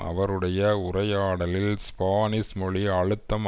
அவருடைய உரையாடலில் ஸ்பானிஷ் மொழி அழுத்தம்